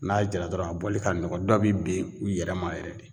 N'a jara dɔrɔn a bɔli ka nɔgɔ dɔ be ben u yɛrɛ ma yɛrɛ de.